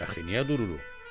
"Bəs niyə dururuq?"